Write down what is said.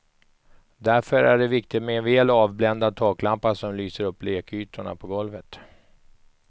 Därför är det viktigt med en väl avbländad taklampa som lyser upp lekytorna på golvet.